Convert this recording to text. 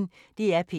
DR P1